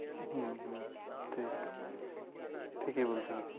হুঁ হুঁ ঠিক ঠিকই বলছেন আপনি